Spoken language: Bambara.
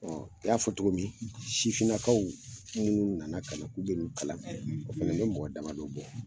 i y'a fɔ togo min sifininakaw minnu nana ka na k'u bi nin kalan kɛ, o fana bi mɔgɔ dama don bɔ